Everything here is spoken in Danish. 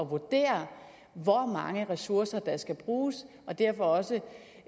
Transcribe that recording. vurdere hvor mange ressourcer der skal bruges og derfor også